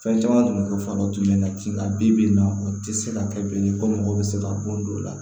Fɛn caman tun bɛ kɛ fa dɔw tun ye nka ji ka bi bi in na o tɛ se ka kɛ bilen ko mɔgɔ bɛ se ka bɔ don o la